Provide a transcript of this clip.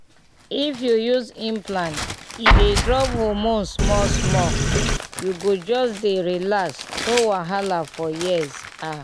if you use implant e dey drop hormone small-small — you go just dey relax no wahala for years ah